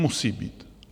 Musí být.